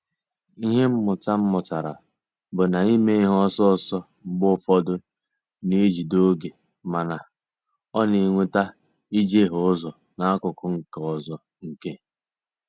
Ịhe mmụta m mụtara bụ na ime ihe ọsọ ọsọ mgbe ụfọdụ ná-ejide oge mana, ọ na-eweta ijehie ụzọ n'akụkụ nke ọzọ nke.